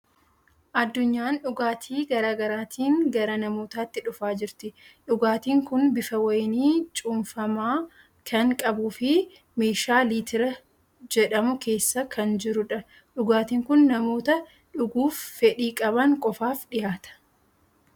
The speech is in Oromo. Addunyaan dhugaatii garaa garaatiin gara namootaatti dhufaa jirti. Dhugaatiin kun bifa wayinii cuunfamaa kan qabuu fi meeshaa litira jedhamu keessa kan jirudha. Dhugaatiin kun namoota dhuguuf fedhii qaban qofaaf dhiyaata.